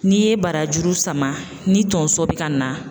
N'i ye barajuru sama ni tonso bɛ ka na